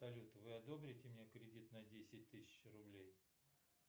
салют вы одобрите мне кредит на десять тысяч рублей